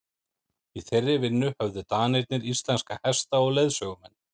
í þeirri vinnu höfðu danirnir íslenska hesta og leiðsögumenn